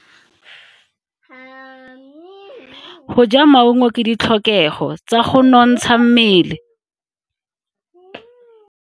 Go ja maungo ke ditlhokego tsa go nontsha mmele.